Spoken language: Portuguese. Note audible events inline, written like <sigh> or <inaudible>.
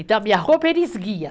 Então, a minha roupa, <unintelligible>